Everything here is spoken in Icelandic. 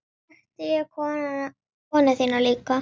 Vakti ég konu þína líka?